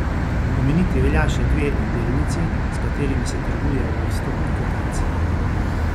Omeniti velja še dve delnici, s katerimi se trguje v vstopni kotaciji.